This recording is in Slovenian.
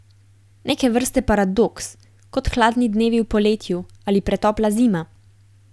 Neke vrste paradoks, kot hladni dnevi v poletju ali pretopla zima.